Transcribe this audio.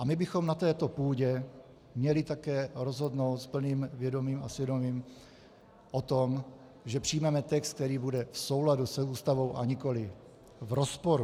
A my bychom na této půdě měli také rozhodnout s plným vědomím a svědomím o tom, že přijmeme text, který bude v souladu s Ústavou, a nikoli v rozporu.